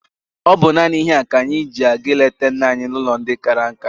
Ọ bụ naanị ihe a ka anyị ji aga ịleta nna anyị n'ụlọ ndị kara nka?